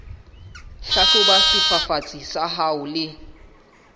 hlahloba sefafatsi sa hao le